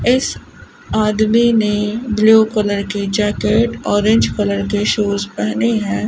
इस आदमी ने ब्लू कलर की जैकेट ऑरेंज कलर के शूज पहने हैं।